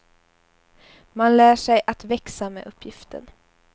Man lär sig att växa med uppgiften.